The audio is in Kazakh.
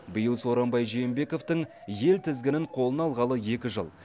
биыл сооронбай жээнбековтің ел тізгінін қолына алғалы екі жыл